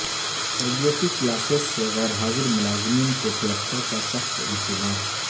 تربیتی کلاسیس سے غیر حاضر ملازمین کو کلکٹر کا سخت انتباہ